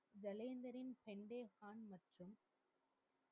ஜலேந்திறின்